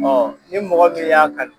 ni mɔgɔ min y'a kanu